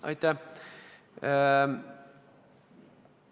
Aitäh!